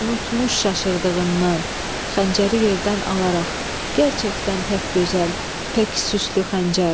Unutmuş, çaşırdığından xəncəri yerdən alaraq, gərçəkdən pək gözəl, pək süslü xəncər.